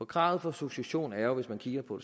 kravet for succession er jo hvis man kigger på